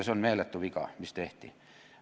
See oli meeletu viga, mis tehti.